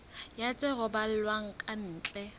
ya tse romellwang ka ntle